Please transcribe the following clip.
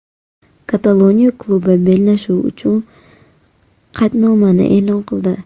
Kataloniya klubi bellashuv uchun qaydnomani e’lon qildi .